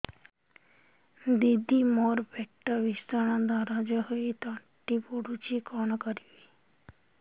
ଦିଦି ମୋର ପେଟ ଭୀଷଣ ଦରଜ ହୋଇ ତଣ୍ଟି ପୋଡୁଛି କଣ କରିବି